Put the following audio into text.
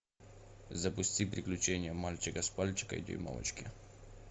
запусти приключения мальчика спальчика и дюймовочки